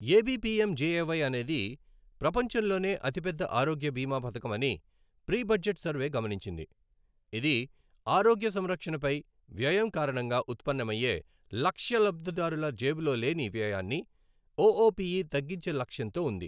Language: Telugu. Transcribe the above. ఏబీపీఎంజేఏవై అనేది ప్రపంచంలోనే అతిపెద్ద ఆరోగ్య బీమా పథకం అని ప్రీ బడ్జెట్ సర్వే గమనించింది, ఇది ఆరోగ్య సంరక్షణపై వ్యయం కారణంగా ఉత్పన్నమయ్యే లక్ష్య లబ్ధిదారుల జేబులో లేని వ్యయాన్ని ఓఓపీఈ తగ్గించే లక్ష్యంతో ఉంది.